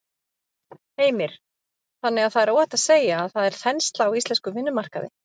Heimir: Þannig að það er óhætt að segja að það er þensla á íslenskum vinnumarkaði?